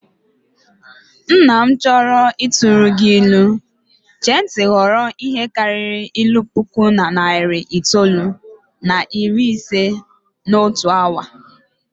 Nna m chọọ ịtụrụ gị ilu, chee ntị ghọrọ ihe karịrị ilu puku na narị itoolu na iri ise n'otu awa